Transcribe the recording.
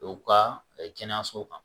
U ka kɛnɛyasow kan